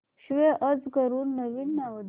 save as करून नवीन नाव दे